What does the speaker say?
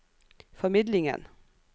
formidlingen